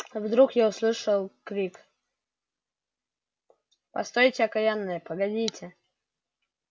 вдруг я услышал крик постойте окаянные погодите